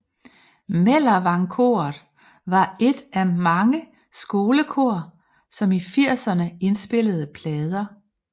Mellervang Koret var et af mange skolekor som i firserne indspillede plader